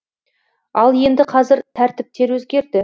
ал енді қазір тәртіптер өзгерді